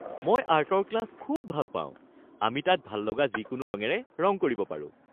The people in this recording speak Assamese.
মই আৰ্টৰ ক্লাছ খুব ভাল পাওঁ। আমি তাত ভাল লগা যিকোনো ৰঙেৰে ৰং কৰিব পাৰোঁ।